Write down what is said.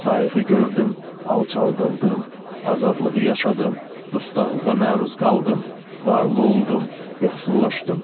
Sayığı gördüm, alçaldıldım, azadlığı yaşadım, dustaqlığa məruz qaldım, varlı oldum, yoxsullaşdım.